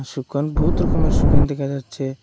সুকান বহুত রকমের সুকান দেখা যাচ্ছে।